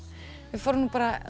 við fórum bara